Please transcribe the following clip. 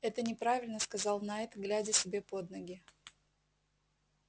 это неправильно сказал найд глядя себе под ноги